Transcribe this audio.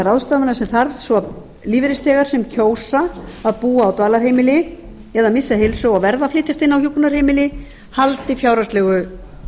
ráðstafanir sem til þarf svo lífeyrisþegar sem kjósa að búa á dvalarheimili eða missa heilsu og verða að flytjast inn á hjúkrunarheimili haldi fjárhagslegu